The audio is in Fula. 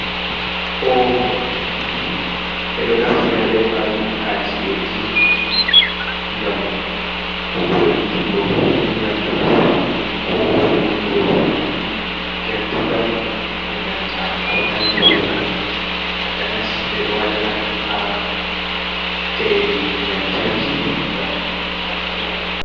Oovun ɓe ɗo naftira bee maajum haa ci’eeji ngam foynutugo nyamdu koo wulnugo gertugal e nanta ko nandi bee man, takanas ɓe ɗo wadira haa njairi lamtarki ngam naftira.